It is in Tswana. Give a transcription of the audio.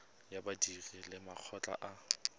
ya badiri le makgotla a